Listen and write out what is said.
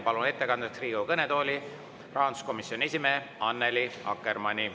Palun ettekandeks Riigikogu kõnetooli rahanduskomisjoni esimehe Annely Akkermanni.